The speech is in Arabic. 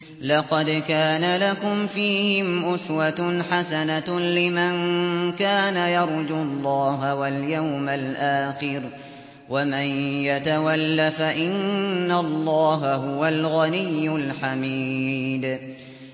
لَقَدْ كَانَ لَكُمْ فِيهِمْ أُسْوَةٌ حَسَنَةٌ لِّمَن كَانَ يَرْجُو اللَّهَ وَالْيَوْمَ الْآخِرَ ۚ وَمَن يَتَوَلَّ فَإِنَّ اللَّهَ هُوَ الْغَنِيُّ الْحَمِيدُ